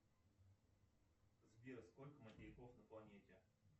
сбер сколько материков на планете